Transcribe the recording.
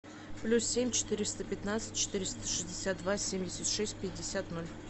плюс семь четыреста пятнадцать четыреста шестьдесят два семьдесят шесть пятьдесят ноль